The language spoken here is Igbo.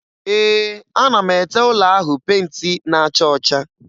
Ee, ana m ete ụlọ ahụ penti na-acha ọcha.